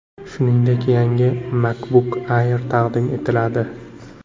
Shuningdek, yangi MacBook Air taqdim etiladi.